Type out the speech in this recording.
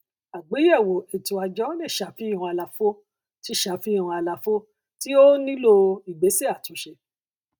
àgbéyèwò ètò àjọ lè ṣàfihàn àlàfo tí ṣàfihàn àlàfo tí ó nílò ìgbésẹ àtúnṣe